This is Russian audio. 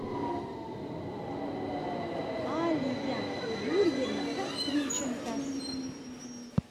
алия юрьевна кострюченко